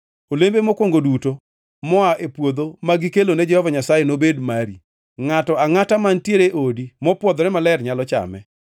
Olembe mokwongo duto moa e puodho ma gikelone Jehova Nyasaye nobed mari. Ngʼato angʼata mantiere e odi mopwodhore maler nyalo chame.